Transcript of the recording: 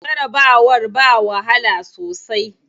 Jarabawar ba wahala sosai.